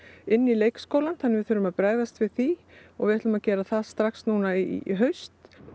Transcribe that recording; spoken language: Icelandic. inn í leikskólann þannig við þurfum að bregðast við því og við ætlum að gera það strax núna í haust